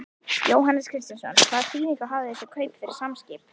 Jóhannes Kristjánsson: Hvaða þýðingu hafa þessi kaup fyrir Samskip?